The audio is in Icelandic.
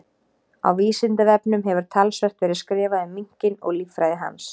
Á Vísindavefnum hefur talsvert verið skrifað um minkinn og líffræði hans.